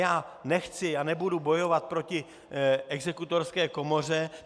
Já nechci a nebudu bojovat proti Exekutorské komoře.